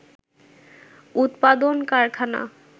উৎপাদন কারখানা